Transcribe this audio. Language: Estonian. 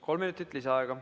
Kolm minutit lisaaega.